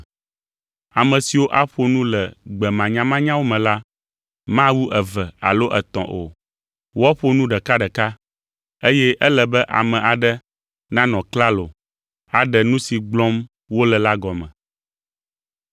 Ame siwo aƒo nu le gbe manyamanyawo me la mawu eve alo etɔ̃ o. Woaƒo nu ɖekaɖeka, eye ele be ame aɖe nanɔ klalo aɖe nu si gblɔm wole la gɔme.